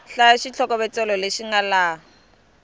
hlaya xitlhokovetselo lexi nga laha